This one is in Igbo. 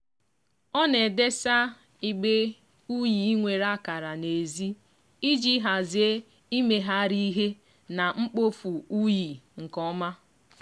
ọ na-edesa igbe unyi nwere akara n'ezi iji hazie imegharị ihe na mkpofu unyi nke ọma.